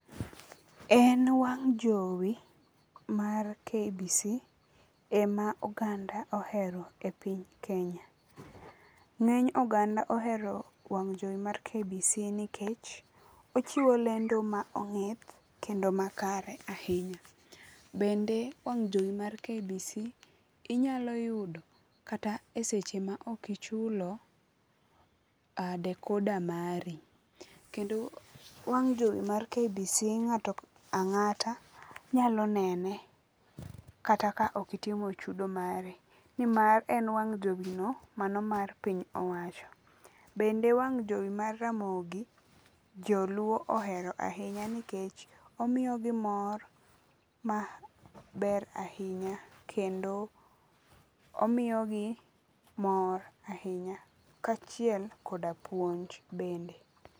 En wang' jowi mar KBC ema oganda ohero e piny Kenya. Ng'eny oganda ohero wang' jowi mar KBC nikech ochiwo lendo ma ong'ith kendo makare ahinya. Bende wang' jowi mar KBC inyalo yudo kata e seche ma ok ichulo decoda mari. Kendo wang' jowi mar KBC ng'ato ang'ata nyalo nene kata ok itimo chudo mari. Nimar e wang' jowi no mano mar piny owacho. Bende wang jowi mar ramogi, joluo ohero ahinya nikech omiyo gi mor maber ahinya kendo omiyogi mor ahinya kachiel koda puonj bende.